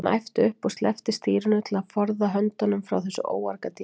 Hann æpti upp og sleppti stýrinu til að forða höndunum frá þessu óargadýri.